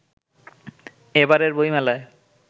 এবারের বইমেলায়